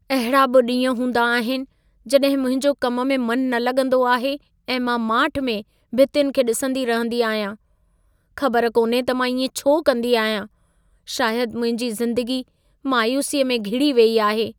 अहिड़ा बि ॾींहं हूंदा आहिनि, जड॒हिं मुंहिंजो कम में मनु न लॻंदो आहे ऐं मां माठि में भितियुनि खे डि॒संदी रहिंदी आहियां। ख़बर कोन्हे त मां इएं छो कंदी आहियां। शायदु मुंहिंजी ज़िंदगी मायूसीअ में घिड़ी वेई आहे।